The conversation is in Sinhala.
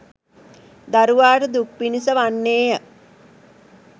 දරුවාට දුක් පිණිස වන්නේය.